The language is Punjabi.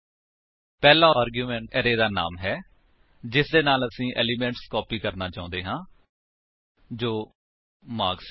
ਪਹਿਲਾ ਆਰਗੁਮੇਂਟ ਅਰੇ ਦਾ ਨਾਮ ਹੈ ਜਿਸਦੇ ਨਾਲ ਤੁਸੀ ਏਲਿਮੇਂਟਸ ਕਾਪੀ ਕਰਨਾ ਚਾਹੁੰਦੇ ਹੋ ਜੋ ਮਾਰਕਸ ਹੈ